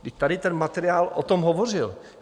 I tady ten materiál o tom hovořil.